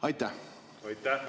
Aitäh!